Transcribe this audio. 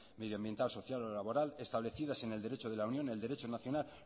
medioambiental social o laboral establecidas en el derecho de la unión el derecho nacional